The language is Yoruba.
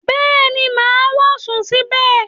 Bẹ́ẹ̀ni, mà á wọ̀ sùn síbẹ̀